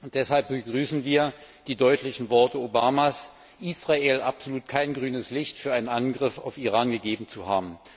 Deshalb begrüßen wir die deutlichen Worte Obamas, der Israel absolut kein grünes Licht für einen Angriff auf Iran gegeben hat.